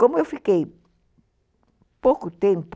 Como eu fiquei pouco tempo